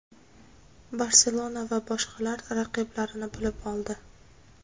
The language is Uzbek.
"Barselona" va boshqalar raqiblarini bilib oldi.